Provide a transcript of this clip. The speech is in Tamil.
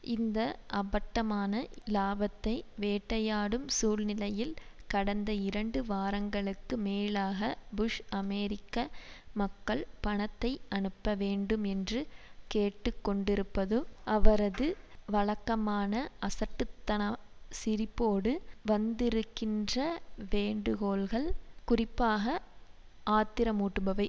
இந்த அப்பட்டமான இலாபத்தை வேட்டையாடும் சூழ்நிலையில் கடந்த இரண்டு வாரங்களுக்கு மேலாக புஷ் அமெரிக்க மக்கள் பணத்தை அனுப்ப வேண்டும் என்று கேட்டு கொண்டிருப்பது அவரது வழக்கமான அசட்டுத்தன சிரிப்போடு வந்திருக்கின்ற வேண்டுகோள்கள் குறிப்பாக ஆத்திரமூட்டுபவை